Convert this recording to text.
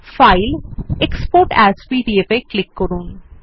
file gtExport as PDF এ click করুন